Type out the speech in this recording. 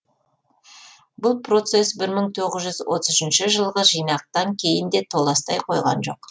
бұл процесс бір мың тоғыз жүз отыз үшінші жылғы жинақтан кейін де толастай қойған жоқ